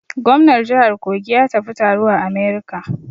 Gomnar jihar Kogi ya tafi taro a America.